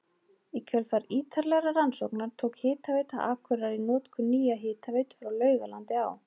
Í kjölfar ítarlegra rannsókna tók Hitaveita Akureyrar í notkun nýja hitaveitu frá Laugalandi á